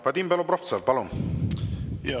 Vadim Belobrovtsev, palun!